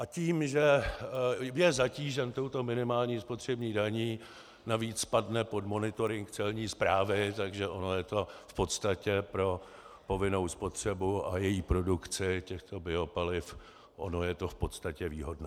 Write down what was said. A tím, že je zatížen touto minimální spotřební daní, navíc padne pod monitoring celní správy, takže ono je to v podstatě pro povinnou spotřebu a její produkci těchto biopaliv, ono je to v podstatě výhodné.